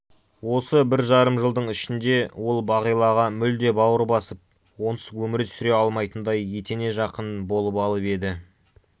осы бір жарым жылдың ішінде ол бағилаға мүлде бауыр басып онсыз өмір сүре алмайтындай етене жақын болып алып еді